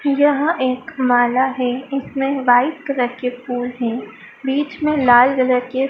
यह एक माला है इसमें वाइट कलर के फूल हैं बीच में लाल कलर के--